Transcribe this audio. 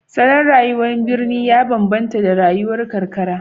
Salon rayuwar birni ya bambanta da rayuwar karkara